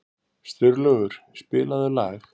Sturlaugur, spilaðu lag.